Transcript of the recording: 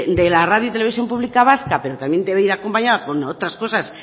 de la radio televisión pública vasca pero también debe ir acompañada con otras cosas